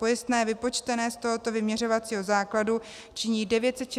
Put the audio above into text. Pojistné vypočtené z tohoto vyměřovacího základu činí 969 Kč měsíčně.